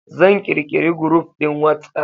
Zan kirkiri group din WhatsApp.